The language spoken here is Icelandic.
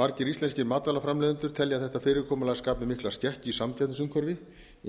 margir íslenskir matvælaframleiðendur telja þetta fyrirkomulag skapa mikla skekkju í samkeppnisumhverfi